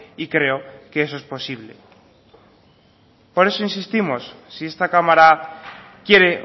y creo que eso es posible por eso insistimos si esta cámara quiere